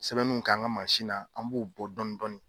Sɛbɛninw k'an ka mansin na an b'o bɔ dɔni dɔni.